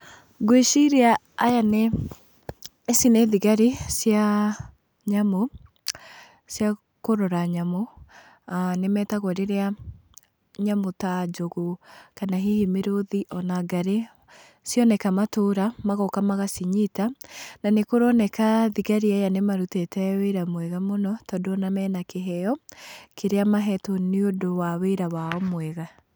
Ngwĩciria aya nĩ, ici nĩ thigari cia nyamũ cia kũrora nyamũ, aah nĩ metagwo rĩrĩa nyamũ ta, njogu, kana hihi mĩrũthi, ona ngarĩ cioneka matũra, magoka magacinyita, na nĩ kũroneka thigari aya nĩ marutĩte wĩra mwega mũno, tond ona mena kĩheyo kĩrĩa mahetwo nĩ ũndũ wa wĩra wao mwega.